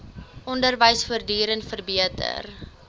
onderwys voortdurend verbeter